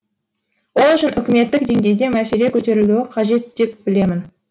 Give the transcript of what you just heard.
ол үшін үкіметтік деңгейде мәселе көтерілуі қажет деп білемін